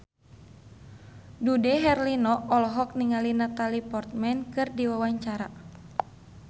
Dude Herlino olohok ningali Natalie Portman keur diwawancara